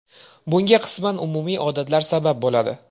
Bunga qisman umumiy odatlar sabab bo‘ladi.